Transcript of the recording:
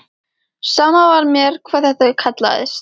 Sama var mér hvað þetta kallaðist.